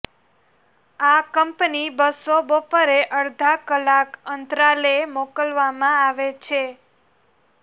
આ કંપની બસો બપોરે અડધા કલાક અંતરાલે મોકલવામાં આવે છે